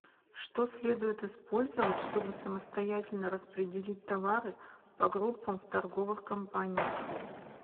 что следует использовать чтобы самостоятельно распределить товары по группам в торговых компаниях